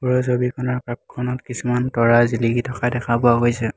ওপৰৰ ছবিখনত আকাশখনত কিছুমান তৰা জিলিকি থকা দেখা পোৱা গৈছে।